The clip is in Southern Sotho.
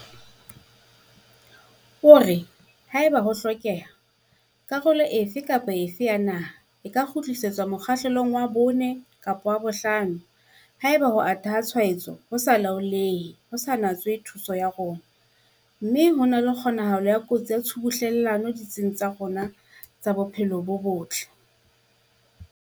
O re, "Haeba ho hlokeha, karolo efe kapa efe ya naha e ka kgutlisetswa mokgahlelong wa 4 kapa wa 5 haeba ho ata ha tshwaetso ho sa laolehe ho sa natswe thuso ya rona mme ho na le kgonahalo ya kotsi ya tshubuhlellano ditsing tsa rona tsa bophelo bo botle."